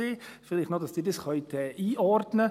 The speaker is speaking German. Vielleicht noch, damit Sie das einordnen können: